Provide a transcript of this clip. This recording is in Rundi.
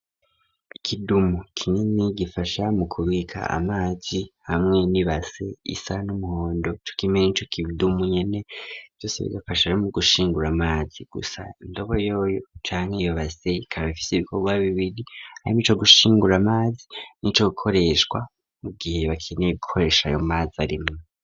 Ikidumu kinini gifasha mu kubika amazi, hamwe nibase isa n'umuhondo cokimwe n'ico kidumu nyene vyose bigafasha mu gushingura amazi, gusa indobo yo canke iyo base ikaba ifise ibikorwa bibiri harimwo ico gushingura amazi n'ico gukoreshwa mu gihe bakeneye gukoresha ayo mazi arimwo.